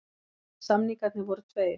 Samningarnir voru tveir